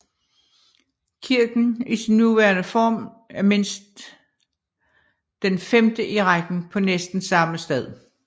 Kirken i sin nuværende form er mindst den femte i rækken på næsten samme sted